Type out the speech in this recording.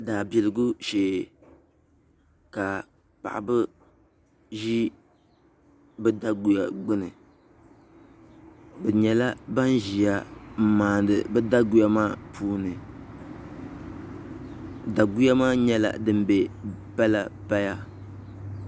Daabiligu shee ka paɣaba ʒi bi daguya gbuni bi nyɛla ban ʒiya n maandi bi daguya maa puuni daguya maa nyɛla din bɛ paya paya